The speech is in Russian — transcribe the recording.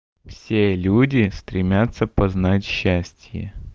все люди стремятся познать счастье